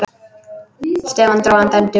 Stefán dró andann djúpt.